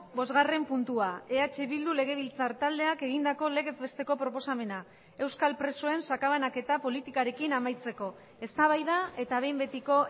bosgarren puntua eh bildu legebiltzar taldeak egindako legez besteko proposamena euskal presoen sakabanaketa politikarekin amaitzeko eztabaida eta behin betiko